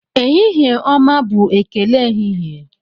Ehihie ọma bụ ekele ehihie.